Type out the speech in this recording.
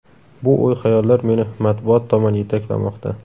Bu o‘y-xayollar meni matbuot tomon yetaklamoqda.